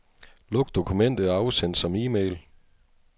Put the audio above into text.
Luk dokumentet og afsend som e-mail.